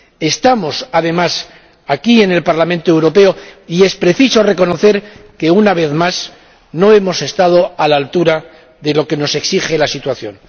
Estamos, además, aquí, en el Parlamento Europeo, y es preciso reconocer que, una vez más, no hemos estado a la altura de lo que nos exige la situación.